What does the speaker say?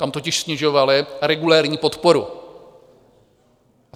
Tam totiž snižovali regulérní podporu.